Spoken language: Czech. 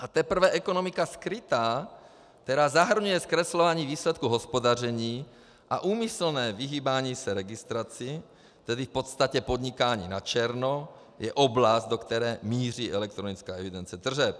A teprve ekonomika skrytá, která zahrnuje zkreslování výsledku hospodaření a úmyslné vyhýbání se registraci, tedy v podstatě podnikání na černo, je oblast, do které míří elektronická evidence tržeb.